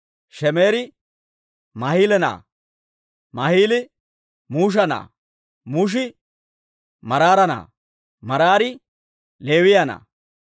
Shemeeri Maahila na'aa; Maahili Musha na'aa; Mushi Maraara na'aa; Maraari Leewiyaa na'aa.